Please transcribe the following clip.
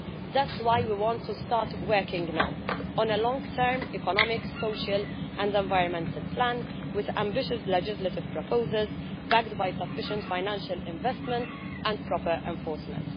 That's why we want to start working now on a long term economic, social and environmental plan with ambitious legislative proposals backed by sufficient financial investments and proper enforcement.